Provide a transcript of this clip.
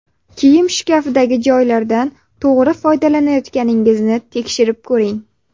Kiyim shkafidagi joylardan to‘g‘ri foydalanayotganingizni tekshirib ko‘ring.